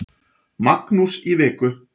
Magnús í viku.